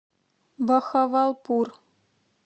бахавалпур